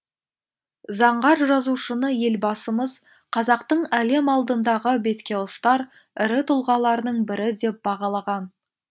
заңғар жазушыны елбасымыз қазақтың әлем алдындағы беткеұстар ірі тұлғаларының бірі деп бағалаған